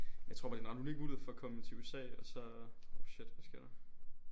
Jeg tror bare det er en ret unik mulighed for at komme til USA og så øh shit hvad sker der